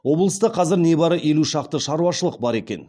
облыста қазір не бары елу шақты шаруашылық бар екен